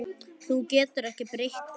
Þú getur ekki breytt því.